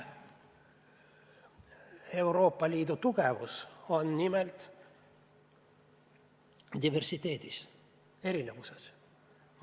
Euroopa Liidu tugevus on nimelt diversiteedis, erinevuses.